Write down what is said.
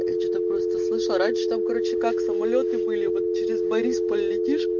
я что то просто слышал раньше там короче как самолёты были вот через борисполь летиш